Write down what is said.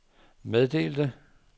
meddelte